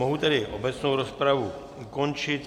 Mohu tedy obecnou rozpravu ukončit.